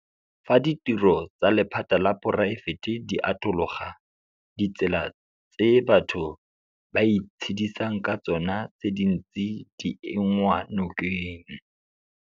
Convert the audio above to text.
Fa ditiro tsa lephata la poraefete di atologa, ditsela tse batho ba itshedisang ka tsona tse dintsi di enngwa nokeng.